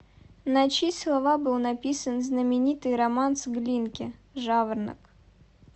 на чьи слова был написан знаменитый романс глинки жаворонок